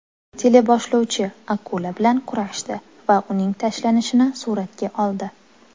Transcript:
Teleboshlovchi akula bilan kurashdi va uning tashlanishini suratga oldi.